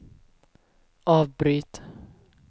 avbryt